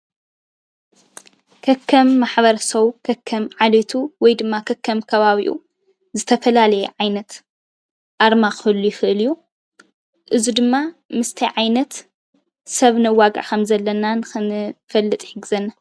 ከከም ማሕበረሰቡ ፣ ከከም ዓልየቱ ወይ ድማ ከከም ከባቢኡ ዝተፈላለየ ዓይነት ኣርማ ኽህሉ ይኽእል እዩ። እዚ ድማ ምስ እንታይ ዓይነት ሰብ ነዋግዕ ከም ዘለና ከም ንፈልጥ ይሕግዘና ።